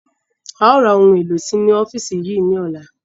Áà ó ra ohun èlò sì inú ọ́fíìsì yìí sí ní ọ̀la.